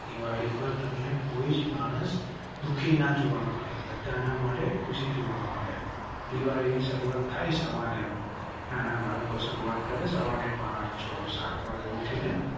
દિવાળી પર તમ ને કોઈ માણસ દુખી ના જોવા મળે. બધા ના મોઢે ખુશી જોવા મળે. દિવાળી ની શરૂઆત થઈ સવારે નાના બાળકો શરૂઆત કરેં. સવારે પાંચ છ સાત વાગે ઉઠી ને.